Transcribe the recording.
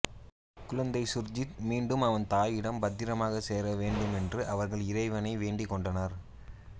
குழந்தை சுர்ஜித் மீண்டும் அவன் தாயிடம் பத்திரமாக சேர வேண்டுமென்று அவர்கள் இறைவனை வேண்டிக் கொண்டனர்